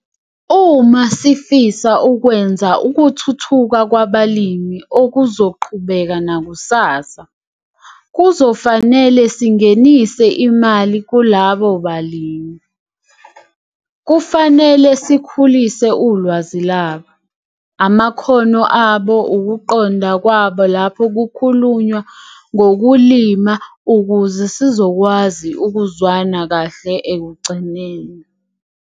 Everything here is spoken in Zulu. Uma sifisa ukwenza ukuthuthuka kwabalimi okuzoqhubeka nakusasa, kuzofanele singenise imali kulabo balimi. Kufanele sikhulise ulwazi labo, amakhono abo, ukuqonda kwabo lapho kukhulunywa ngokulima ukuze sizokwazi ukuzwana kahle ekugcineni.